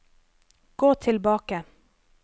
gå tilbake